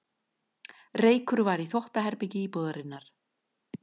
Reykur var í þvottaherbergi íbúðarinnar